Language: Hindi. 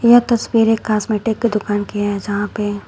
यह तस्वीर एक कॉस्मेटिक की दुकान की है जहां पे--